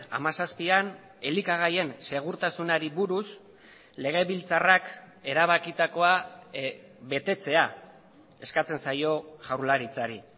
hamazazpian elikagaien segurtasunari buruz legebiltzarrak erabakitakoa betetzea eskatzen zaio jaurlaritzari